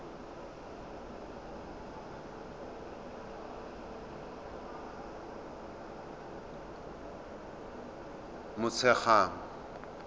motshegang